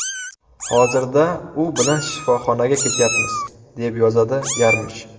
Hozirda u bilan shifoxonaga ketyapmiz”, deb yozadi Yarmish.